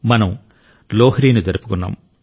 మనం లోహ్రీని జరుపుకున్నాం